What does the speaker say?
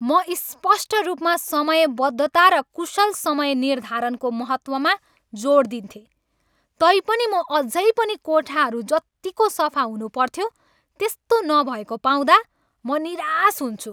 म स्पष्ट रूपमा समयबद्धता र कुशल समयनिर्धारणको महत्त्वमा जोड दिन्थेँ, तैपनि म अझै पनि कोठाहरू जतिको सफा हुनुपर्थ्यो त्यसो नभएको पाउँदा म निराश हुन्छु!